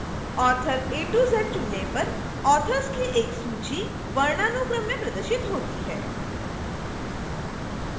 author az चुनने पर authors की एक सूची वर्णानुक्रम में प्रदर्शित होती है